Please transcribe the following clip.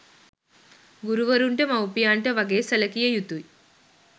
ගුරුවරුන්ට මවුපියන්ට වගේ සැලකිය යුතුය.